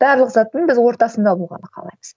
барлық заттың біз ортасында болғанды қалаймыз